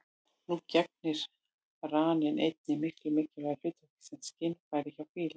Nú gegnir raninn einnig mikilvægu hlutverki sem skynfæri hjá fílum.